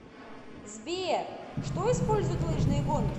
сбер что использует лыжные гонки